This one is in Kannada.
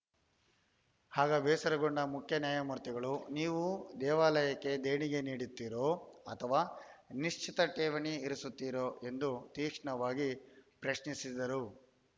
ಆಗ ಬೇಸರಗೊಂಡ ಮುಖ್ಯ ನ್ಯಾಯಮೂರ್ತಿಗಳು ನೀವು ದೇವಾಲಯಕ್ಕೆ ದೇಣಿಗೆ ನೀಡುತ್ತೀರೋ ಅಥವಾ ನಿಶ್ಚಿತ ಠೇವಣಿ ಇರಿಸುತ್ತೀರೋ ಎಂದು ತೀಕ್ಷ್ಣವಾಗಿ ಪ್ರಶ್ನಿಸಿದರು